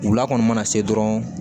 Wula kɔni mana se dɔrɔn